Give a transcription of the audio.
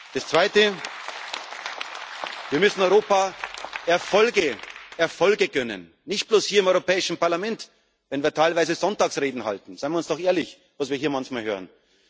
Leuten. Das Zweite Wir müssen Europa Erfolge gönnen, nicht bloß hier im Europäischen Parlament, wenn wir teilweise Sonntagsreden halten seien wir doch ehrlich, was wir hier manchmal